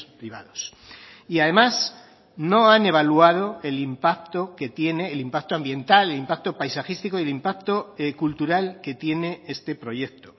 privados y además no han evaluado el impacto que tiene el impacto ambiental el impacto paisajístico y el impacto cultural que tiene este proyecto